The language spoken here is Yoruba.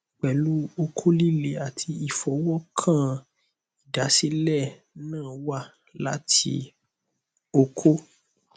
pelu oko lile ati ifowokan idasile na wa lati oko